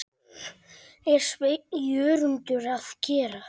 er Sveinn Jörundur að gera?